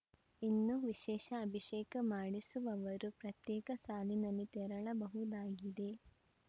ಇನ್ನು ವಿಶೇಷ ಅಭಿಷೇಕ ಮಾಡಿಸುವವರು ಪ್ರತ್ಯೇಕ ಸಾಲಿನಲ್ಲಿ ತೆರಳಬಹುದಾಗಿದೆ